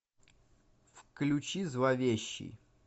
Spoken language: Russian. включи зловещий